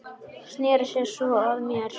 Sneri sér svo að mér.